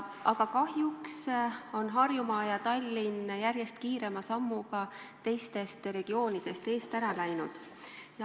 Aga kahjuks on Harjumaa ja Tallinn järjest kiirema sammuga teistel regioonidel eest ära läinud.